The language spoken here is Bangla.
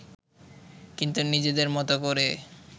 কিন্তু নিজেদের মতো করে